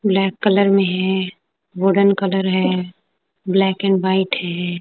Black colour में है golden colour है ब्लैक एंड व्हाइट है।